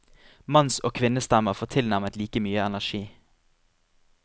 Manns og kvinnestemmer får tilnærmet like mye energi.